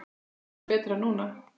Þetta er mun betra núna.